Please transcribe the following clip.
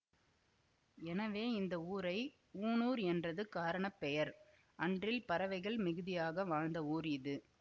எனவே இந்த ஊரை ஊணூர் என்றது காரண பெயர் அன்றில் பறவைகள் மிகுதியாக வாழ்ந்த ஊர் இது